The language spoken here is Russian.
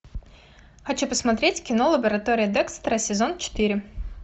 хочу посмотреть кино лаборатория декстера сезон четыре